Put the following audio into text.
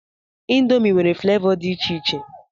Indomi nwere flavọ dị iche iche.